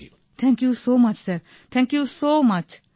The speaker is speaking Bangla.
ভাবনা thank you so much sir thank you so much